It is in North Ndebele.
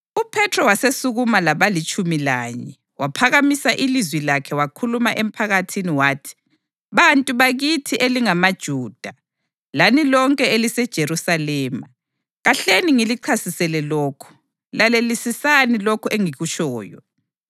UPhethro wasesukuma labalitshumi lanye, waphakamisa ilizwi lakhe wakhuluma emphakathini wathi, “Bantu bakithi elingamaJuda, lani lonke eliseJerusalema, kahleni ngilichasisele lokhu; lalelisisani lokhu engikutshoyo.